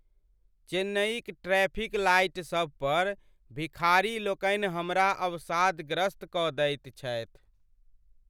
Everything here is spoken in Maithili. चेन्नईक ट्रैफिक लाइटसभ पर भिखारीलोकनि हमरा अवसादग्रस्त कऽ दैत छथि।